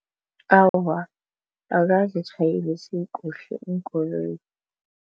Awa, akazitjhayelisi kuhle iinkoloyi.